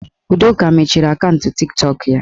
Udoka mechiri akaụntụ Tiktọk ya